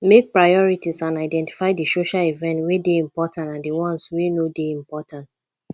make priorities and identify di social event wey dey important and di ones wey no dey important